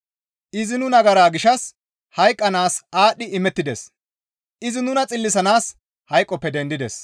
Izi nu nagara gishshas hayqqanaas aadhdhi imettides; izi nuna xillisanaas hayqoppe dendides.